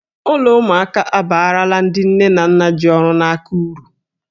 Ụlọ ụmụaka abaarala ndị nne na nna ji ọrụ n'aka uru.